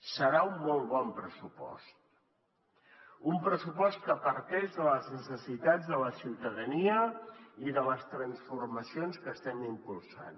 serà un molt bon pressupost un pressupost que parteix de les necessitats de la ciutadania i de les transformacions que estem impulsant